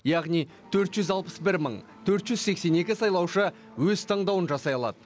яғни төрт жүз алпыс бір мың төрт жүз сексен екі сайлаушы өз таңдауын жасай алады